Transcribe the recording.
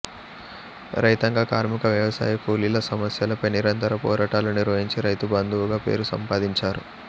రైతాంగ కార్మిక వ్యవసాయ కూలీల సమస్యలపై నిరంతర పోరాటాలు నిర్వహించి రైతు బంధువుగా పేరు సంపాదించారు